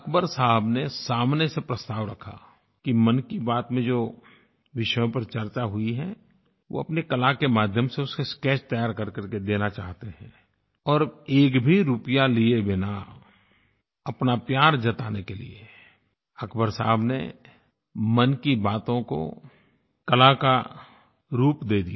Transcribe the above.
अक़बर साहब ने सामने से प्रस्ताव रखा कि मन की बात में जिन विषयों पर चर्चा हुई है वो अपनी कला के माध्यम से उसका स्केच तैयार करके देना चाहते हैं और एक भी रूपया लिये बिना अपना प्यार जताने के लिए अक़बर साहब ने मन की बातों को कला का रूप दे दिया